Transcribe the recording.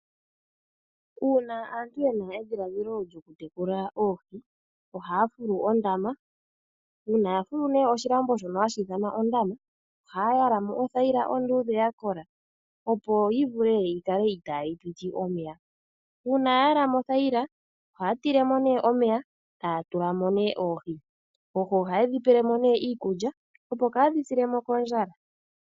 Uuna aantu ye na edhiladhilo lyokutekula oohi, ohaa fulu ondama. Uuna ya fulu oshilambo shono hashi ithanwa ondama, ohaya yala mo othayila onduudhe ya kola, opo yi vule yi kale itaayi piti omeya. Uuna ya yala mo othayila, ohaa tile mo omeya, taya tula mo oohi. Oohi ohaye dhi pele mo iikulya, opo kaadhi sile mo kondjala.